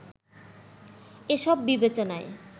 এসব বিবেচনায়